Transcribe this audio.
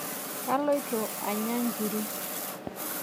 Kaloito anya nkiri.